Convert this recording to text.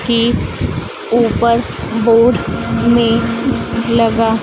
की ऊपर बोर्ड में लगा--